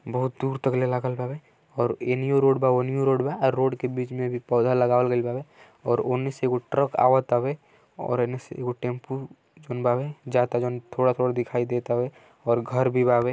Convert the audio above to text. बहुत दूर तह लागल बावे और एनियो रोड बा। वोनियो रोड बा। अउ रोड के बीच में पौधा लगावल गइल बा और उने से एक ट्रक आवत आवे और एक टैम्पू जोवन बावे जात आ जोवन की थोड़ा-थोड़ा दिखाई दे तवे और घर भी बाये।